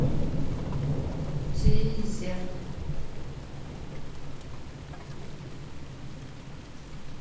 тизер